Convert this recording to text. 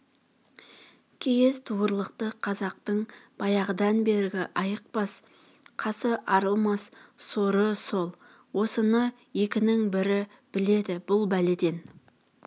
киіз туырлықты қазақтың баяғыдан бергі айықпас қасы арылмас соры сол осыны екінің бірі біледі бұл бәледен